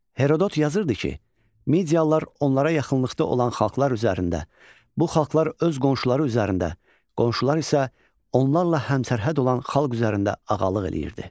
Herodot yazırdı ki, Mediyalılar onlara yaxınlıqda olan xalqlar üzərində, bu xalqlar öz qonşuları üzərində, qonşular isə onlarla həmsərhəd olan xalq üzərində ağalıq eləyirdi.